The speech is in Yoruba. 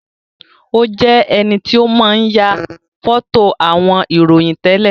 Ó jẹ enito máa ń ya foto àwọn ìròyìn tẹ́lẹ̀